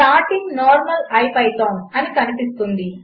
starting normal IPython అనేఒకఎర్రర్వస్తే